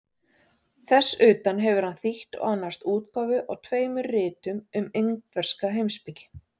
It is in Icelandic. Þess utan hefur hann þýtt og annast útgáfu á tveimur ritum um indverska heimspeki.